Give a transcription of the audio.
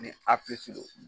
Ni do.